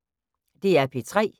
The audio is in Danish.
DR P3